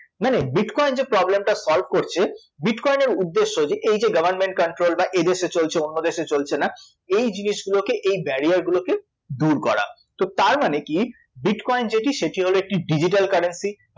মানে bitcoin যে problem টা solve করছে bitcoin এর উদ্দেশ্য যে এই যে government controlled বা এদেশে চলছে অন্যদেশে চলছে না, এই জিনিসগুলোকে এই barrier গুলোকে দূর করা, তো তার মানে কী bitcoin যেটি সেটি হল একটি digital currency